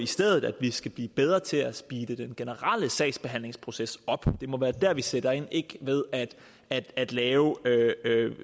stedet skal blive bedre til at speede den generelle sagsbehandlingsproces op det må være der vi sætter ind ikke ved at at lave